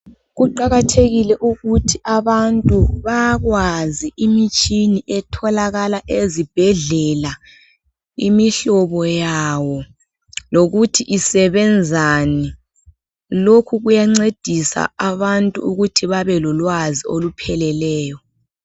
Kuqakathekile ukuthi abantu bakwazi imitshini etholakala ezibhedlela imihlobo yawo, lokuthi isebenzani. Lokhu kuyancedisa abantu ukuthi babelolwazi olupheleleyo.